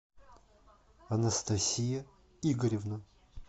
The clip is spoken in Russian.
анастасия игоревна